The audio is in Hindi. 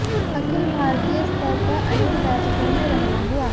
अखिल भारतीय स्तर पर अनेक बैठकों में रहना हुआ